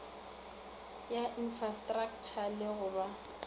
ya infrastraktšha le go ba